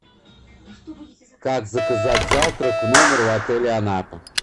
как заказать завтрак в номер в отеле анапа